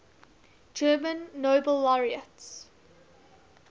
german nobel laureates